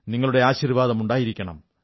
നിങ്ങളുടെ ആശീർവ്വാദം ഉണ്ടായിരിക്കണം